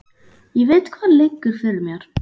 Ég veit hvað liggur fyrir mér.